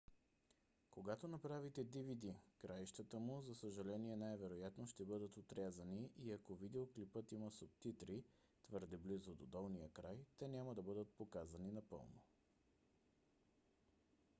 когато направите dvd краищата му за съжаление най-вероятно ще бъдат отрязани и ако видеоклипът има субтитри твърде близо до долния край те няма да бъдат показани напълно